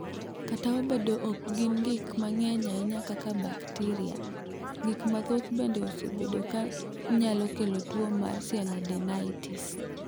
"Kata obedo ni ok gin gik ma ng’eny ahinya kaka bakteria, gik mathoth bende osebedo ka nyalo kelo tuo mar sialadenitis."